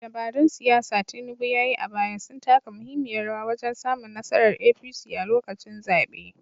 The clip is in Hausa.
Dabarun siyasa da Tinubu ya yi a baya sun taka muhimmiyar rawa wajen samun nasarar APC a lokacin zaɓe.